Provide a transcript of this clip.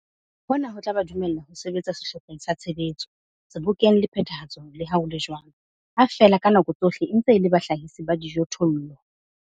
Hona ho tla ba dumella ho sebetsa Sehlopheng sa Tshebetso, Sebokeng le Phethahatsong, le ha ho le jwalo, ha feela ka nako tsohle e ntse e le bahlahisi ba dijothollo.